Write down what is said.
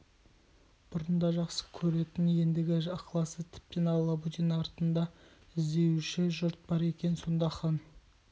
бұрын да жақсы көретін ендігі ықыласы тіпті алабөтен артында іздеуші жұрты бар екен сонда хан